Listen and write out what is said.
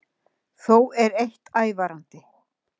Þó er eitt ævarandi